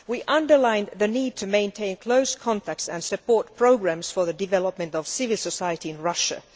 We underline the need to maintain close contacts and support programmes for the development of civil society in Russia.